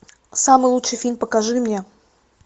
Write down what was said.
самый лучший фильм покажи мне